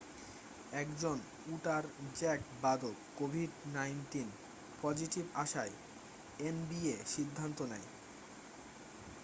একজন উটার জ্যাজ বাদক covid-19 পজিটিভ আসায় nba সিদ্ধান্ত নেয়